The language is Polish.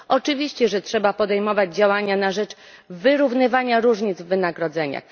Oczywiście, że trzeba podejmować działania na rzecz wyrównywania różnic w wynagrodzeniach.